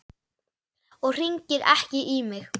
Og hringir ekki í mig.